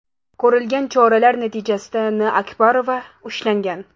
Ko‘rilgan choralar natijasida N.Akbarova ushlangan.